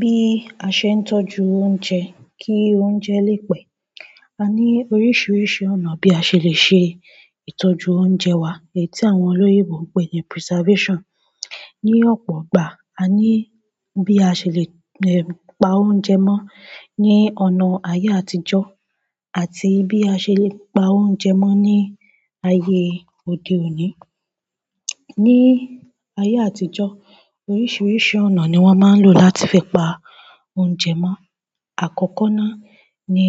Bí a ṣe ń tọ́jú oúnjẹ kí oúnjẹ lè pẹ́. A ní oríṣiríṣi ọ̀nà bí a ṣe le ṣe ìtọ́jú oúnjẹ wa èyí tí àwọn olóyinbo ń pè ní preservation. Ni ọ̀pọ̀ ìgbà, a ní bí a ṣe lè pa oúnjẹ mọ́ ní ọ̀nà ayé àtijọ́ àti bí a ṣe lè pa oúnjẹ mọ́ ní ayé òde òní. Ni ayé àtijọ́, oríṣiríṣi ọ̀nà ni wọ́n máa ń lò láti fi pa oúnjẹ mọ́. Àkọ́kọ́ náà ni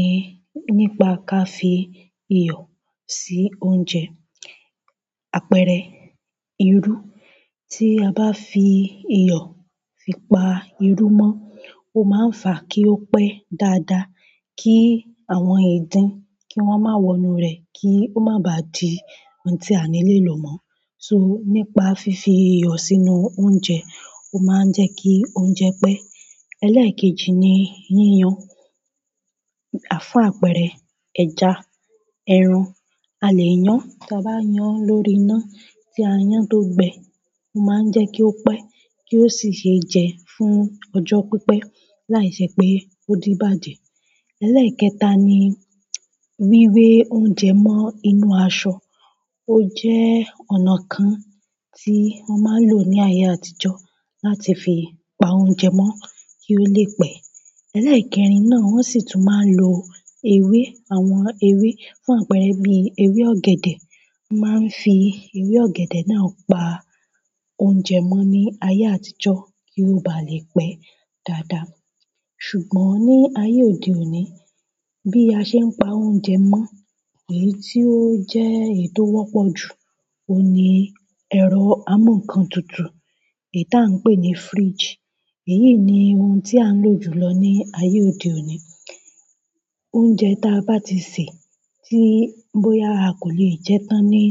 nípa ká fi iyọ̀ sí oúnjẹ, àpẹẹrẹ irú. Tí a bá fi iyọ̀ fi pa irú mọ́, ó máa ń fà kí ó pẹ́ dáadáa, kí àwọn ìdin kí wọ́n má wọ inú rẹ̀ kí ó má bá di ohun tí a ni lè lò mọ́. So nípa fífi iyọ̀ sínú oúnjẹ, ó máa ń jẹ́ kí oúnjẹ pẹ́. Ẹlẹ́ẹ̀kejì ni yíyan. Fún àpẹẹrẹ ẹja, ẹran, a lè yán, tí a bá yán lórí iná tí a yán tó gbẹ, ó máa ń jẹ́ kí ó pẹ́ kí ó sì ṣe jẹ fún ọjọ́ pípẹ́ láìṣẹ́ pé ó di ibàjẹ́. Ẹlẹ́ẹ̀kẹta ni wíwé oúnjẹ mọ́ inú aṣọ. Ó jẹ́ ọ̀nà kan tí wọ́n máa ń lò ní ayé àtijọ́ láti fi pa oúnjẹ mọ́ kí ó lè pẹ́. Ẹlẹ́ẹ̀kẹrin náà, wọ́n sì tún máa ń lo ewé. Àwọn ewé fún àpẹẹrẹ bí ewé ọ̀gẹ̀dẹ̀. Wọ́n máa ń fi ewé ọ̀gẹ̀dẹ̀ náà pa oúnjẹ mọ́ ní ayé àtijọ́ kí ó bá lè pẹ́ dáadáa. Ṣùgbọ́n ní ayé òde òní, bí a ṣe ń pa oúnjẹ mọ́, èyí tí ó jẹ́ èyí tó wọ́pọ̀ jù, òun ni ẹ̀rọ amúǹkan tutù èyí tí à ń pè ní fridge. Èyií ni ohun tí à ń lò jù lọ ní ayé òde òní. Oúnjẹ tí a bá ti sè, tí bóyá a kò lè jẹ tán ní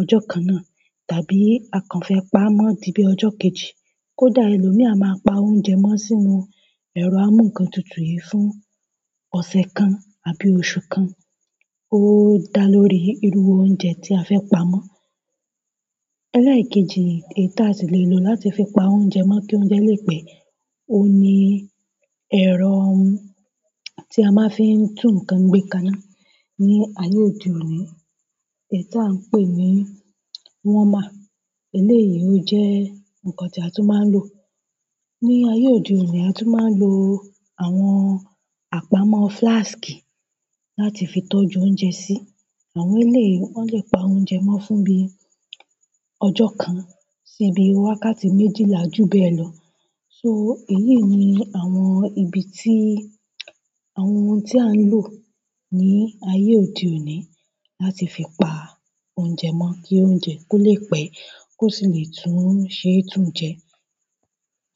ọjọ́ kan náà, tàbí a kàn fẹ́ pa á mọ́ di bí ọjọ́ kejì, kó dà ẹlòmíì a máa pa oúnjẹ mọ́ sínú ẹ̀rọ amúǹkan tutù yìí fún ọ̀sẹ̀ kan àbí oṣù kan. Ó dà lórí irú oúnjẹ tí a fẹ́ pa mọ́. Ẹlẹ́ẹ̀kejì èyí tí a sì lè lò láti fi pa oúnjẹ mọ́ kí oúnjẹ lè pẹ́, òun ni ẹ̀rọ tí a máa ń fi tún ǹkan gbékaná ní ayé òde òní, èyí tí à ń pè ní warmer. Eléyìí ó jẹ́ nǹkan tí a tún máa ń lò. Ní ayé òde òní, a tún máa ń lo àwọn àpamọ́ flask láti fi tọ́jú oúnjẹ sí. Àwọn eléyi, wọ́n lè pa oúnjẹ mọ́ fún bí ọjọ́ kan sí bí wákàtí méjìlá júbẹ́ lọ. So èyí ni àwọn ibi tí, àwọn ohun tí à ń lò ní ayé òde òní láti fi pa oúnjẹ mọ́ kí oúnjẹ kó lè pẹ́ kó sì lè tún ṣe é tún jẹ.